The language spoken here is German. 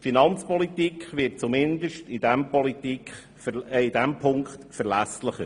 Die Finanzpolitik wird zumindest in diesem Punkt verlässlicher.